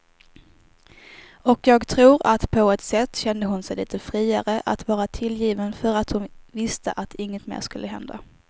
Och jag tror att på ett sätt kände hon sig lite friare att vara tillgiven för att hon visste att inget mer skulle hända.